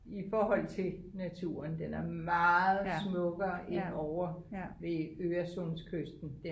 i frohold til naturen den er meget smukkere end ovre ved Øresundskysten